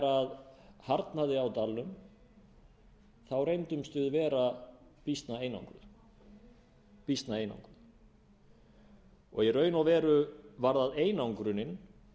að þegar harðnaði á dalnum þá reyndumst við vera býsna einangruð og í raun og veru var það einangrunin